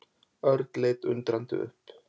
Örn leit undrandi upp.